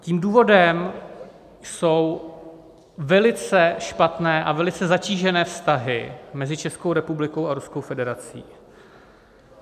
Tím důvodem jsou velice špatné a velice zatížené vztahy mezi Českou republikou a Ruskou federací.